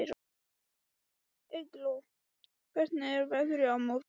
Eygló, hvernig er veðrið á morgun?